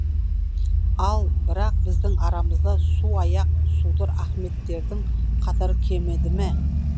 ал бірақ біздің арамызда су аяқ судыр ахметтердің қатары кеміді ме